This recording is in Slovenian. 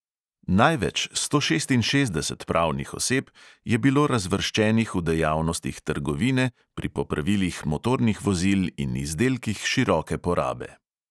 Največ, sto šestinšestdeset pravnih oseb, je bilo razvrščenih v dejavnostih trgovine, pri popravilih motornih vozil in izdelkih široke porabe.